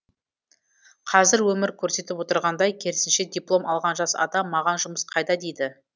қазір өмір көрсетіп отырғандай керісінше диплом алған жас адам маған жұмыс қайда дейді